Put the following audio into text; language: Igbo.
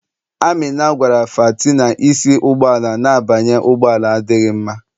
Amina gwara fati na isi n'ụgbọala na-abanye ụgbọ ala adịghị mma.